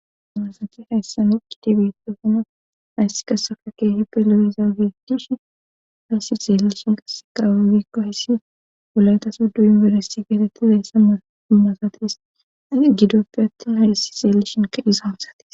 damasate hayssami kidi bitofino hayssi kasafa kee hi peloyiza giidishi hayssi xeelishin qass qaawabiikko hayssi gulayta suddu inberessi geetetti zayssa madumasatiis ani gidoppi attin hayssi xeelishin kadhiza hamsati